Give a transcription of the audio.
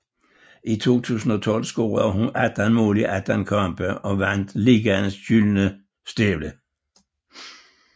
I 2012 scorede hun 18 mål i 18 kampe og vandt ligaens Gyldne Støvle